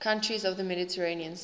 countries of the mediterranean sea